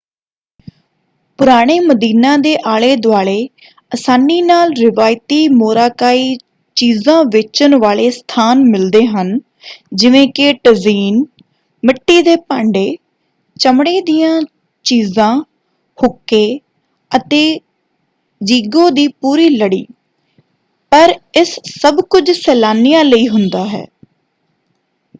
ਪੁਰਾਣੇ ਮਦੀਨਾ ਦੇ ਆਲੇ-ਦੁਆਲੇ ਅਸਾਨੀ ਨਾਲ ਰਿਵਾਇਤੀ ਮੋਰਾਕਾਈ ਚੀਜ਼ਾਂ ਵੇਚਣ ਵਾਲੇ ਸਥਾਨ ਮਿਲਦੇ ਹਨ ਜਿਵੇਂ ਕਿ ਟਜ਼ੀਨ ਮਿੱਟੀ ਦੇ ਭਾਂਡੇ ਚਮੜੇ ਦੀਆਂ ਚੀਜ਼ਾਂ ਹੁੱਕੇ ਅਤੇ ਜੀਗੋ ਦੀ ਪੂਰੀ ਲੜੀ ਪਰ ਇਸ ਸਭ ਕੁਝ ਸੈਲਾਨੀਆਂ ਲਈ ਹੁੰਦਾ ਹੈ।